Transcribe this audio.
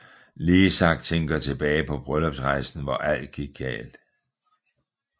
Leezak tænker tilbage på bryllupsrejsen hvor alt gik galt